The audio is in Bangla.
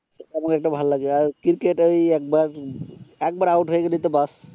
আর ক্রিকেট ওই একবার একবার আউট হয়ে গেলে তো ব্যাস